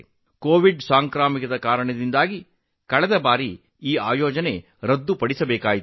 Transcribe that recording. Covid ಸಾಂಕ್ರಾಮಿಕ ರೋಗದಿಂದಾಗಿ ಹಿಂದಿನ ಕ್ರೀಡಾಕೂಟಗಳನ್ನು ರದ್ದುಗೊಳಿಸಬೇಕಾಯಿತು